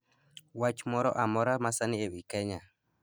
wach moro amora masani ewi kenya